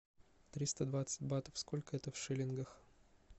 триста двадцать батов сколько это в шиллингах